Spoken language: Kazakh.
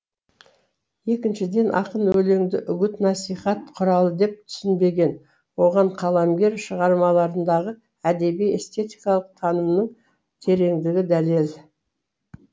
екіншіден ақын өлеңді үгіт насихат құралы деп түсінбеген оған қаламгер шығармаларындағы әдеби эстетикалық танымның тереңдігі дәлел